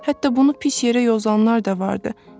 Hətta bunu pis yerə yozanlar da vardı.